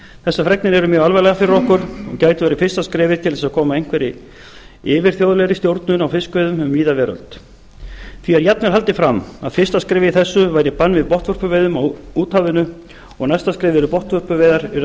þessar fregnir eru mjög alvarlegar fyrir okkur og gætu verið fyrsta skrefið til þess að koma á einhverri yfirþjóðlegri stjórnun á fiskveiðum um víða veröld því er jafnvel haldið fram að fyrsta skrefið í þessu væri bann við botnvörpuveiðum á úthafinu og næsta skrefið yrði að botnvörpuveiðar yrðu